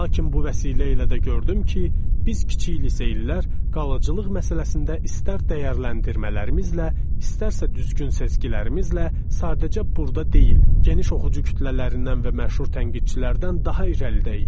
Lakin bu vəsilə ilə də gördüm ki, biz kiçik liseylilər qalıcılıq məsələsində istər dəyərləndirmələrimizlə, istərsə düzgün sezgilərimizlə sadəcə burda deyil, geniş oxucu kütlələrindən və məşhur tənqidçilərdən daha irəlidəyik.